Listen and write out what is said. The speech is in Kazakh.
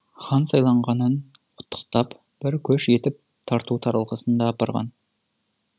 хан сайланғанын құттықтап бір көш етіп тарту таралғысын да апарған